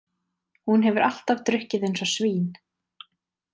Hún hefur alltaf drukkið eins og svín.